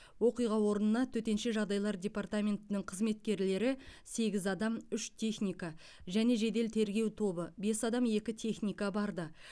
оқиға орнына төтенше жағдайлар департаментінің қызметкерлері сегіз адам үш техника және жедел тергеу тобы бес адам екі техника барды